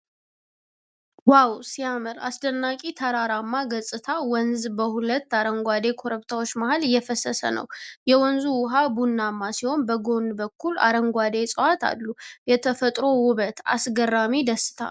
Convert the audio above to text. ዋው ሲያምር! አስደናቂ ተራራማ ገጽታ! ወንዝ በሁለት አረንጓዴ ኮረብታዎች መሃል እየፈሰሰ ነው። የወንዙ ውሃ ቡናማ ሲሆን በጎን በኩል አረንጓዴ እፅዋት አሉ። የተፈጥሮ ውበት! አስገራሚ ደስታ!